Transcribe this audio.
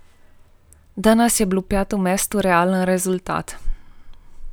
Danes je bilo peto mesto realen rezultat.